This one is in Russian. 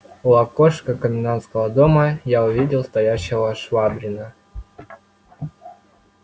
у окошка комендантского дома я увидел стоящего швабрина